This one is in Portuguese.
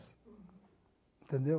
Entendeu?